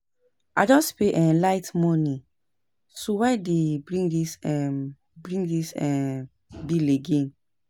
I just pay um light money so why dey bring dis um bring dis um bill again